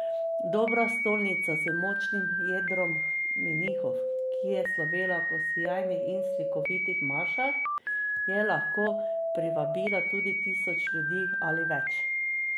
Dobra stolnica z močnim jedrom menihov, ki je slovela po sijajnih in slikovitih mašah, je lahko privabila tudi tisoč ljudi ali več.